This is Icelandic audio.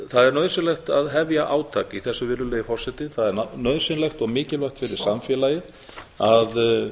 það er nauðsynlegt að hefja átak í þessu virðulegi forseti það er nauðsynlegt og mikilvægt fyrir samfélagið að